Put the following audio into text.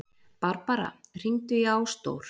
Barbara, hringdu í Ásdór.